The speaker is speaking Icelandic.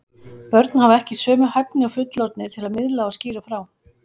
Börn hafa ekki sömu hæfni og fullorðnir til að miðla og skýra frá.